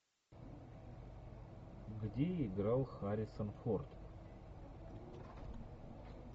где играл харрисон форд